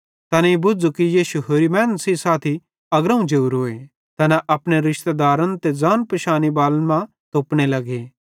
तैनेईं बुझ़ू कि यीशु होरि मैनन् सेइं साथी अग्रोवं जोरोए तैना अपने रिशतेदारन ते ज़ान पिशाने बालन मां तोपने लगे